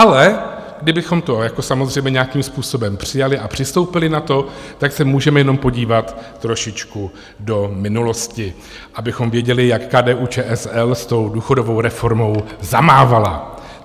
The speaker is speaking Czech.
Ale kdybychom to jako samozřejmě nějakým způsobem přijali a přistoupili na to, tak se můžeme jenom podívat trošičku do minulosti, abychom věděli, jak KDU-ČSL s tou důchodovou reformou zamávala.